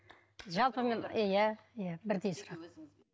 жалпы мен иә иә бірдей сұрақ